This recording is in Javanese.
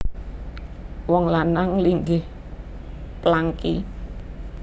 Wong lanang linggih plangki